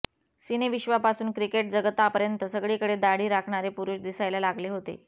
सिनेविश्वापासून क्रिकेटजगतापर्यंत सगळीकडे दाढी राखणारे पुरुष दिसायला लागले होते